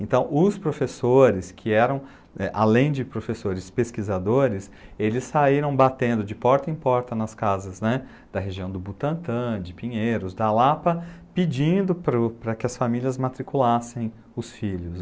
Então, os professores que eram, além de professores pesquisadores, eles saíram batendo de porta em porta nas casas da região do Butantã, de Pinheiros, da Lapa, pedindo para que as famílias matriculassem os filhos.